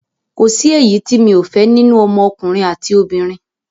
Kòsí èyí ti mi ò fẹ́ nínú ọmọ ọkùnrin àti obìnrin